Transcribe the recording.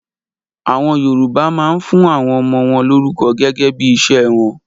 AÀwọn Yorùbá máa ń fún àwọn ọmọ wọn lórúkọ gẹ́gẹ́ bí iṣẹ́ wọn